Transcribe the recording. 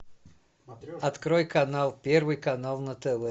открой канал первый канал на тв